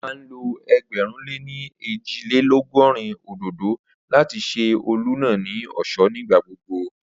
Ó máa ń lo ẹgbẹ̀rún lé ní ẹ́jì-lé-lọ̀gọrin òdòdó láti ṣe ọ́ọ̀lù náà ní ọ̀ṣọ́ ní ìgbà gbogbo